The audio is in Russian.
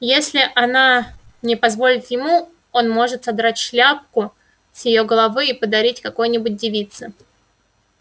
если она не позволит ему он может содрать шляпку с её головы и подарить какой-нибудь девице